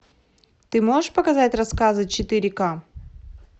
ты можешь показать рассказы четыре ка